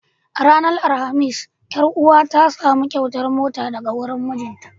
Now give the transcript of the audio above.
A ranar alhamis, ƴar uwa ta samu kyautar mota daga wurin mijinta.